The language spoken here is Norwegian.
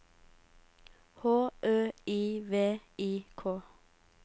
H Ø I V I K